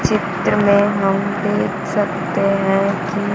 चित्र में हम देख सकते है कि--